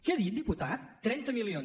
què ha dit diputat trenta milions